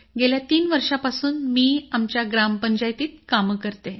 गेल्या तीन वर्षापासून मी आमच्या ग्रामपंचायतीत काम करते